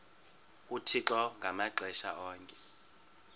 uthixo ngamaxesha onke